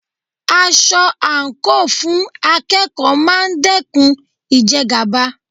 Aṣọ àǹkóò fún akẹ́kọ̀ọ́ máa dẹ́kun ìjẹgàba.